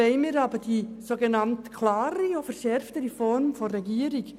Weshalb wollen wir die klare und verschärfte Form der Regierung?